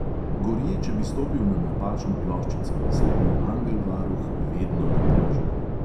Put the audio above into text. Gorje, če bi stopil na napačno ploščico, saj je bil angel varuh vedno na preži.